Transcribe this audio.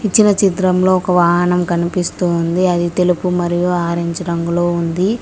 ఇచ్చిన చిత్రంలో ఒక వాహనం కనిపిస్తుంది అది తెలుపు మరియు ఆరెంజ్ రంగులో ఉంది.